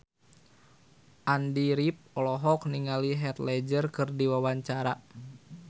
Andy rif olohok ningali Heath Ledger keur diwawancara